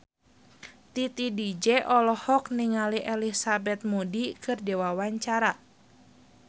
Titi DJ olohok ningali Elizabeth Moody keur diwawancara